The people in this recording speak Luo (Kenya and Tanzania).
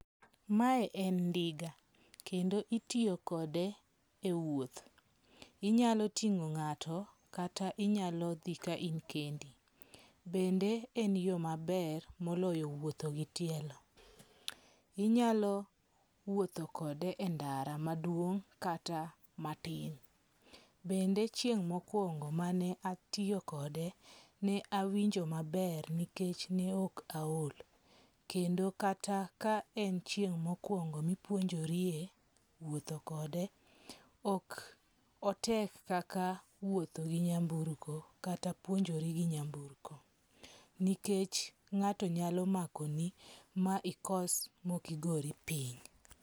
Mae en ndiga. Kendo itiyo kode e wuoth. Inyalo ting'o ng'ato kata inyalo dhi ka in kendi. Bende en yo maber moloyo wuotho gi tielo. Inyalo wuotho kode e ndara maduong' kata matin. Bende chieng' mokwongo mane atiyo kode ne awinjo maber nikech ne ok aol. Kendo kata ka en chieng' mokwongo mipuonjorie wuotho kode, ok otek kaka wuotho gi nyamburko kata puonjori gi nyamburko. Nikech ng'ato nyalo makoni ma ikos mok igori piny.